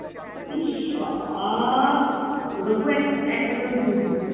ইশ! বাবা ওরকম এক~ একটা তোর জুটবে ।